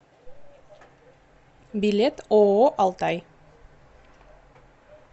билет ооо алтай